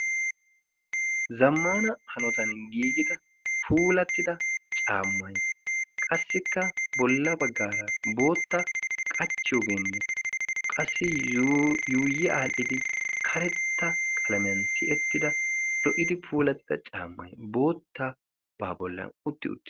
Zammana hanotan giigida puulattida caammai qassikka bolla baggaara bootta qachchiyoogeenne qassi yuuyi aadhdhidi karetta qalamiyan tiyettida lo"idi puulattida caammay bootta baa bollan utti utis